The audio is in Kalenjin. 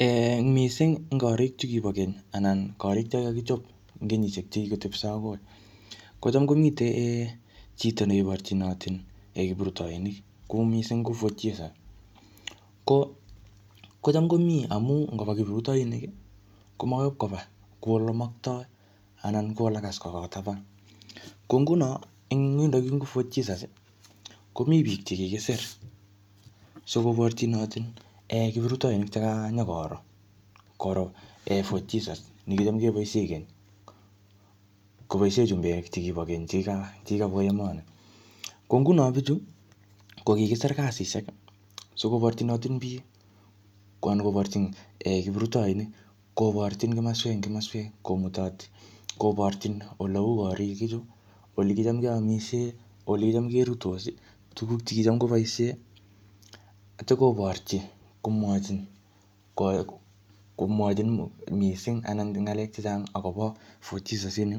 um Ing missing ing korik chu kibo keny, anan korik cho kikakichop eng kenyishek chekikotepso akoi. Kocham komite um chito ne iborchinotin kiptrutoinik. Kou missing ko Fort Jesus. Ko-kocham komii amu ngoba kiprutoinik, ko makoi ipkoba kuu ole matkoi, anan kou ole kas korot taban. Ko nguno, eng yondokyun ko Fort Jesus, komii biik che kikisir. Sikoborchitoni um kiprutoinik che kanyikoro, koro um Fort Jesus ne kicham keboisie keny. Koboisie chumbek chekibo keny chekika-chekikabwa emonii. Ko nguno bichu, kokikisir kasishek, sikoborchinotin biik, anan koborchin um kiprutoinik. Koborchin kimaswek eng kimaswek, komutoti. Koborchin ole uu korik ichu, ole kicham keamisie, ole kicham keruitos, tuguk che kIcham keboisie. Atya koborchi, komwachin ko-komwachin missing anan eng ng'alek chechang akobo Fort Jesus ini.